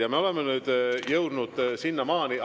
Ja me oleme jõudnud sinnamaani …